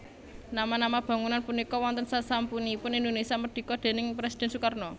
Nama nama bangunan punika wonten sasampunipun Indonesia Merdika déning Presiden Sukarno